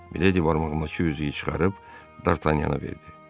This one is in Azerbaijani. Miledi barmağındakı üzüyü çıxarıb Dartanyana verdi.